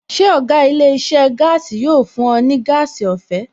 Ṣé ọ̀gá ilé iṣẹ́ gaasi yóò fún ẹ ní gas ọ̀fẹ́?